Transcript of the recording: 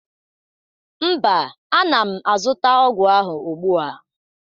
Mba, ana m azụta ọgwụ ahụ ugbu a